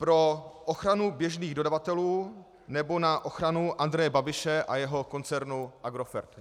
Pro ochranu běžných dodavatelů, nebo na ochranu Andreje Babiše a jeho koncernu Agrofert?